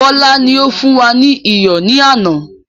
Bọlá ni ó fún wa ní iyọ̀ ni àná.